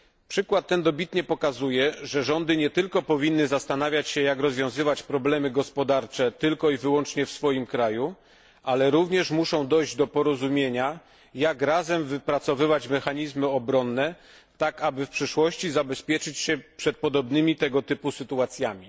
Przykład ten dobitnie pokazuje, że rządy nie tylko powinny zastanawiać się, jak rozwiązywać problemy gospodarcze tylko i wyłącznie w swoim kraju, ale również muszą dojść do porozumienia, jak razem wypracowywać mechanizmy obronne tak, aby w przyszłości zabezpieczyć się przed podobnymi tego typu sytuacjami.